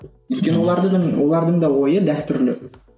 өйткені олардың олардың да ойы дәстүрлі